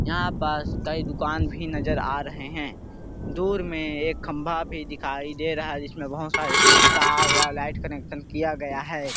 यहाँ पास कई दुकान भी नजर आ रहै है दूर में एक खंबा भी दिखाई दे रहा है जिसमें बहुत सारे तार व लाइट कनेक्शन किया गया है।